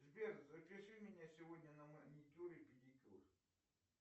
сбер запиши меня сегодня на маникюр и педикюр